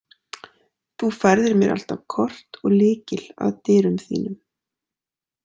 Þú færðir mér alltaf kort og lykil að dyrum þínum.